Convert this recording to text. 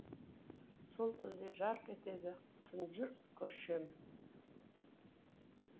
сол тілде жарқ етеді тұнжыр көшем